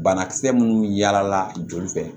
Banakisɛ minnu yaala joli fɛ